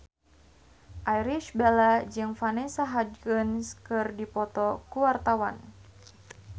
Irish Bella jeung Vanessa Hudgens keur dipoto ku wartawan